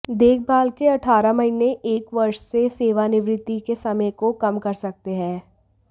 देखभाल के अठारह महीने एक वर्ष से सेवानिवृत्ति के समय को कम कर सकते हैं